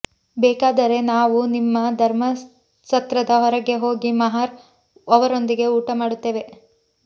ಬೇಕಾದರೆ ನಾವು ನಿಮ್ಮ ಧರ್ಮಸತ್ರದ ಹೊರಗೆ ಹೋಗಿ ಮಹಾರ್ ಅವರೊಂದಿಗೆ ಊಟ ಮಾಡುತ್ತೇವೆ